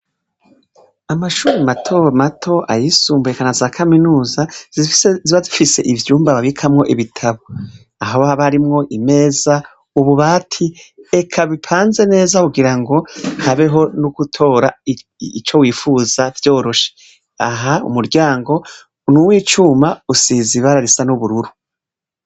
Amashuri mato mato ayisumbuye naza kaminuza ziba zifise ivyumba babikamwo ibitabo. Aha haba harimwo imeza, ububati eka bipanze neza wogira ngo habeho nogutora ico wifuza byoroshe. Aha umuryango nuw'icuma usizibara risa n'ubururu.